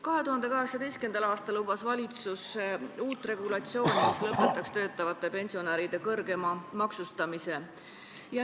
2018. aastal lubas valitsus uut regulatsiooni, mis lõpetaks töötavate pensionäride kõrgema maksustamise.